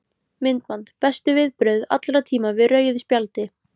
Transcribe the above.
Myndband: Bestu viðbrögð allra tíma við rauðu spjaldi?